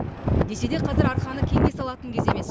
десе де қазір арқаны кеңге салатын кез емес